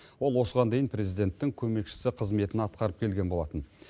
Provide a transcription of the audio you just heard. ол осыған дейін президенттің көмекшісі қызметін атқарып келген болатын